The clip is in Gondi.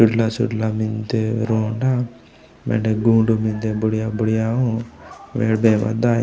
चुडला - चुडला मेन्दे रोंडा मेंडे गोंडु मेन्दे बुड़िया - बुड़िया उ बेन्डे बे मनु दाय।